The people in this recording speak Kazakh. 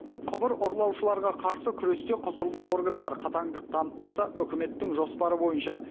құбыр ұрлаушыларға қарсы күресте құзырлы органдар қатаңдық танытпаса үкіметтің жоспары бойынша